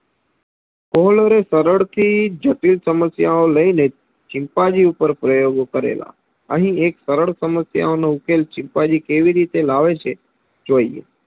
કહલોરે થી જટિલ સમસ્યા લઈને ચિમ્પાન્જી ઉપર પ્રયત્નો કરેલા અહીં એક સરળ સમસ્યાનો ઉકેલ ચિમ્પાન્જી કેવી રીતે લાવે છે. જોઈએ